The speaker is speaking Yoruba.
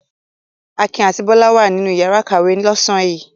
Akin àti Bólú wà nínú ìyàrá-ìkàwé lọ́sàn-án yìí.